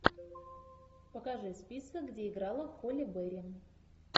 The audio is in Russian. покажи список где играла холли берри